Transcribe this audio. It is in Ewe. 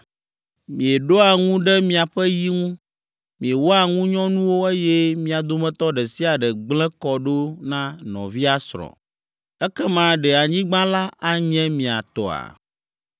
Mieɖoa ŋu ɖe miaƒe yi ŋu, miewɔa ŋunyɔnuwo, eye mia dometɔ ɖe sia ɖe gblẽ kɔ ɖo na nɔvia srɔ̃. Ekema ɖe anyigba la anye mia tɔa?’ ”